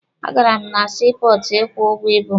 A gara m na sii pọọtụ ịkwụ ụgwọ ibu m.